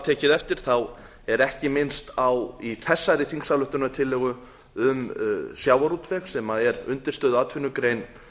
tekið eftir þá er ekki minnst á í þessari þingsályktunartillögu um sjávarútveg sem er undirstöðuatvinnugrein